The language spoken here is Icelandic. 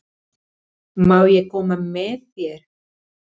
Má ég koma með þér?